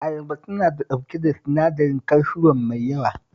Ayaba tana ɗauke da sinadarin kalsiyom mai yawa